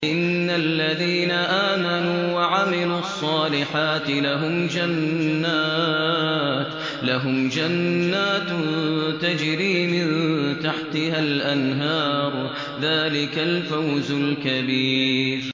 إِنَّ الَّذِينَ آمَنُوا وَعَمِلُوا الصَّالِحَاتِ لَهُمْ جَنَّاتٌ تَجْرِي مِن تَحْتِهَا الْأَنْهَارُ ۚ ذَٰلِكَ الْفَوْزُ الْكَبِيرُ